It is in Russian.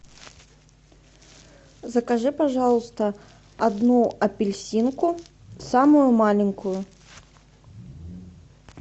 закажи пожалуйста одну апельсинку самую маленькую